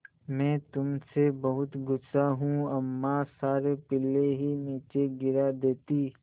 मैं तुम से बहुत गु़स्सा हूँ अम्मा सारे पिल्ले ही नीचे गिरा देतीं